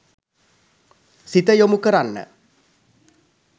සිත යොමු කරන්න.